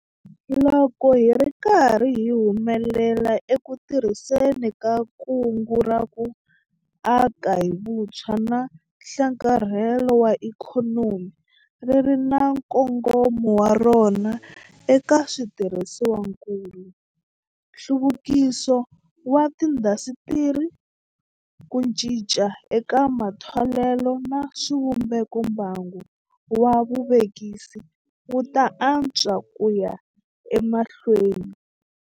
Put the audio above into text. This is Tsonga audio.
Loko hi ri karhi hi humelela eku tirhiseni ka Kungu ra ku Aka hi Vutshwa na Nhlakarhelo wa Ikhonomi - ri ri na nkongomo wa rona eka switirhisiwakulu, nhluvukiso wa tiindasitiri, ku cinca eka matholelo na swivumbeko - mbangu wa vuvekisi wu ta antswa ku ya emahlweni.